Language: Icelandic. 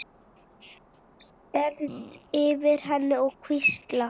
Stend yfir henni og hvísla.